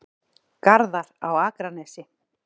Garðar á Akranesi.